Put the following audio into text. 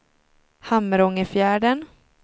Hamrångefjärden